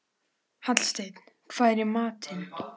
Hallsteinn, hvað er í matinn?